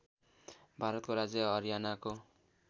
भारतको राज्य हरियानाको